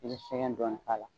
I bi sɛgɛn dɔɔnin k'a la